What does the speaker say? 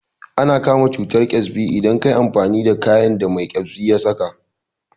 Ana kama cutar ƙyasbi idan kayi amfani da kayan da mai ƙyasbi ya saka